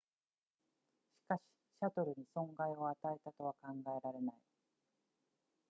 しかしシャトルに損害を与えたとは考えられない